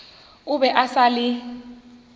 o be a sa le